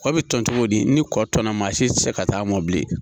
Kɔ bi cogo di ni kɔɔna si ti se ka taa mɔbili